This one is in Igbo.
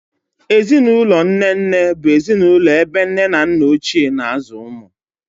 Ezinụlọ nne nne bụ ezinụlọ ebe nne na nna Ochie na-azụ ụmụ.